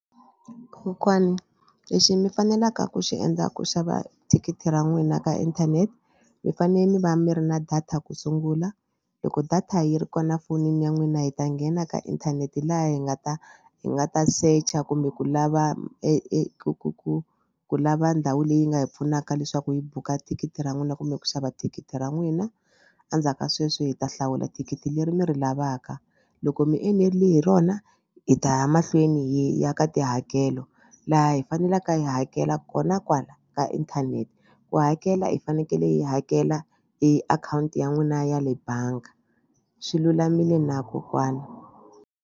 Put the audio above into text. Kokwani lexi mi faneleke ku xi endla ku xava thikithi ra n'wina ka inthanete mi fanele mi va mi ri na data ku sungula loko data yi ri kona fonini ya n'wina hi ta nghena ka inthanete laha hi nga ta hi nga ta secha kumbe ku lava eku ku ku ku lava ndhawu leyi nga hi pfunaka leswaku hi buka thikithi ra n'wina kumbe ku xava thikithi ra n'wina. Endzhaku ka sweswo hi ta hlawula thikithi leri mi ri lavaka loko mi enerile hi rona hi ta ya mahlweni hi ya ka tihakelo laha hi faneleke hi hakela kona kwala ka inthanete ku hakela hi fanekele hi hakela hi akhawunti ya n'wina ya le bangi swi lulamile na kokwana.